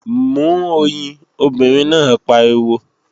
Mú oyin, obìnrin náà pariwo!